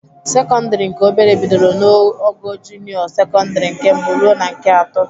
Sekọndịrị nke obere bidoro n'ogo junịọ sekọndịrị nke mbụ ruo na nke atọ.